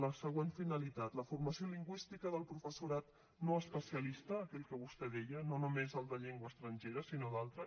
la següent finalitat la formació lingüística del professorat no especialista aquell que vostè deia no només el de llengua estrangera sinó d’altra